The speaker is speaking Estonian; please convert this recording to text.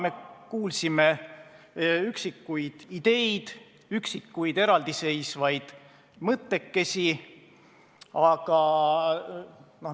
Me kuulsime üksikuid ideid, üksikuid eraldi seisvaid mõttekesi.